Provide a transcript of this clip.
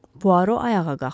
Poirot ayağa qalxdı.